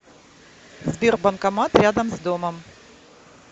сбер банкомат рядом с домом